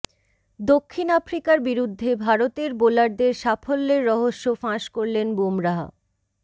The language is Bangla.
দক্ষিণ আফ্রিকার বিরুদ্ধে ভারতের বোলারদের সাফল্যের রহস্য ফাঁস করলেন বুমরাহ